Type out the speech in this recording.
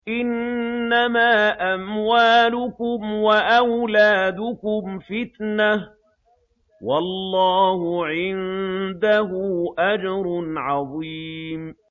إِنَّمَا أَمْوَالُكُمْ وَأَوْلَادُكُمْ فِتْنَةٌ ۚ وَاللَّهُ عِندَهُ أَجْرٌ عَظِيمٌ